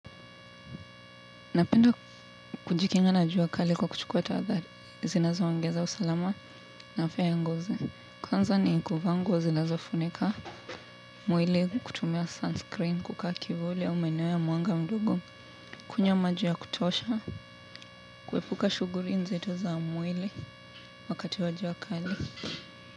Napenda kujikinga na jua kali kwa kuchukua tahadhari zinazo ongeza usalama na afya ya ngozi. Kwanza ni kuvaa nguo zinazofunika mwili kutumia 'sunscreen,' kukaa kivuli au maeneo ya mwanga mdogo. Kunywa maji ya kutosha, kuepuka shughuli nzito za mwili, wakati wa jua kali.